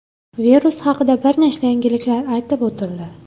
Virus haqida bir nechta yangiliklar aytib o‘tildi.